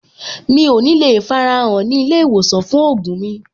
Mi ò ní le farahàn ní ilé-ìwòsàn fún ògùn mi.